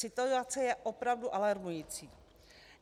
Situace je opravdu alarmující.